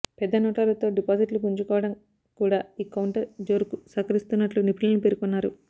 పెద్ద నోట్ల రద్దుతో డిపాజిట్లు పుంజుకోవడం కూడా ఈ కౌంటర్ జోరుకు సహకరిస్తున్నట్లు నిపుణులు పేర్కొన్నారు